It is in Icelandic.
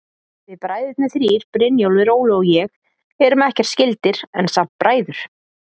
Við bræðurnir þrír, Brynjólfur, Óli og ég, erum ekkert skyldir, en samt bræður.